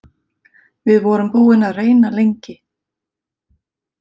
Við vorum búin að reyna lengi.